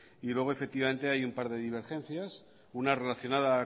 y luego efectivamente hay un par de divergencias una relacionada